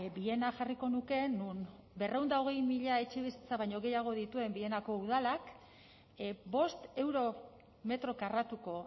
viena jarriko nuke non berrehun eta hogei mila etxebizitza baino gehiago dituen vienako udalak bost euro metro karratuko